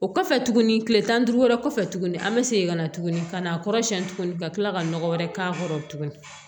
O kɔfɛ tuguni kile tan ni duuru wɛrɛ kɔfɛ tuguni an bɛ segin ka na tuguni ka na kɔrɔsiyɛn tuguni ka kila ka nɔgɔ wɛrɛ k'a kɔrɔ tuguni